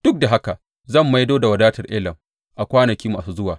Duk da haka zan maido da wadatar Elam a kwanaki masu zuwa,